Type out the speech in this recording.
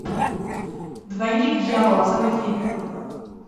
двойник дьявола заводи